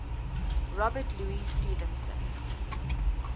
robert louis stevenson